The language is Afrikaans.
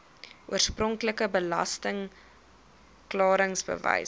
oorspronklike belasting klaringsbewys